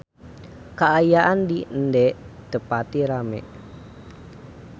Kaayaan di Ende teu pati rame